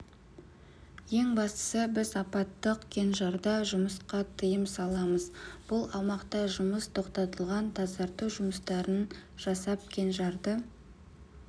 ең бастысы біз апаттық кенжарда жұмысқа тыйым саламыз бұл аумақта жұмыс тоқтатылған тазарту жұмыстарын жасап кенжарды